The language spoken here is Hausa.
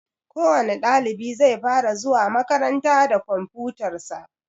Kowani ɗalibi zai fara zuwa makaranta da komfutar shi.